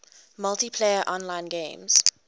multiplayer online games